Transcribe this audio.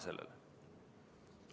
Aitäh!